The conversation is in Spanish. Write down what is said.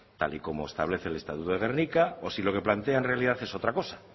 tal y como establece el estatuto de gernika o si lo que plantea en realidad es otra cosa